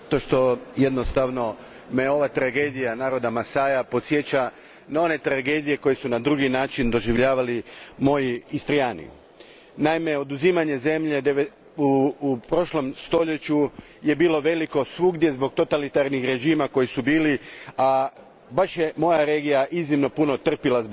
Gospodine predsjedniče, ova me tragedija naroda Masaja podsjeća na one tragedije koje su na drugi način doživljavali moji Istrijani. Naime, oduzimanja zemlje u prošlom stoljeću svugdje je bilo mnogo zbog totalitarnih režima koji su bili, a baš je moja regija iznimno puno trpila zbog toga.